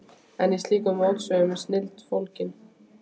En í slíkum mótsögnum er snilldin fólgin.